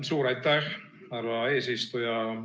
Suur aitäh, härra eesistuja!